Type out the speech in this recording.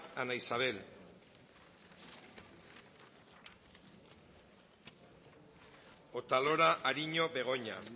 ana isabel otalora ariño begoña